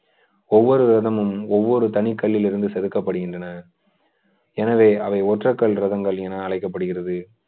ஒவ்வொரு ரதமும் ஒவ்வொரு தனி கல்லில் இருந்து செதுக்கப்படுகின்றன எனவே அவை ஒற்றை கல் ரகங்கள் என அழைக்கப்படுகிறது